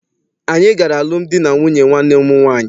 Anyị gara alụmdi na nwunye nwanne m nwaanyị.